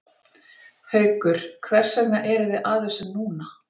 Haukur hvers vegna eruð þið að þessu núna?